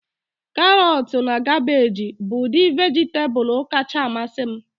Karọtu na kabeeji bụ udi vejitabulu kacha amasị m